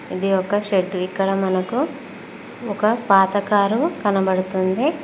ఇది ఒక షెడ్డు ఇక్కడ మనకు ఒక పాత కారు కనపడుతుంది.